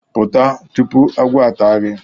Pụta!, tupu agwọ ata gi